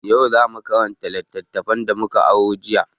Yau za mu karanta littattafan da mu ka aro jiya.